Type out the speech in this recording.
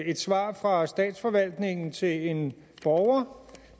et svar fra statsforvaltningen til en borger